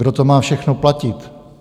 Kdo to má všechno platit?